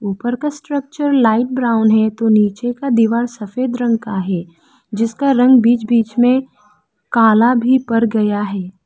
ऊपर का structure light brown है तो नीचे का दीवार सफेद रंग का है जिसका रंग बीच बीच में काला भी पड़ गया है।